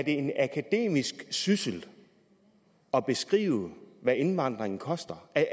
en akademisk syssel at beskrive hvad indvandringen koster er